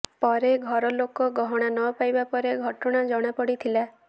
ପରେ ଘର ଲୋକ ଗହଣା ନପାଇବା ପରେ ଘଟଣା ଜଣାପଡିଥିଲା